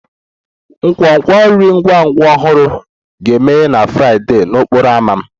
Nkwonkwo nri ngwa ngwa ọhụrụ ga-emeghe na Fraịdee n'okporo ámá m